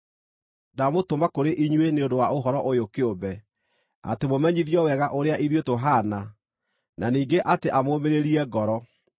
Ndamũtũma kũrĩ inyuĩ nĩ ũndũ wa ũhoro ũyũ kĩũmbe, atĩ mũmenyithio wega ũrĩa ithuĩ tũhaana, na ningĩ atĩ amũũmĩrĩrie ngoro.